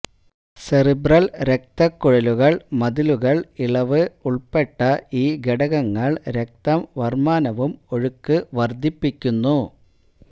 cerebral രക്തക്കുഴലുകൾ മതിലുകൾ ഇളവ് ഉൾപ്പെട്ട ഈ ഘടകങ്ങൾ രക്തം വര്മാനവും ഒഴുക്ക് വർദ്ധിപ്പിക്കുന്നു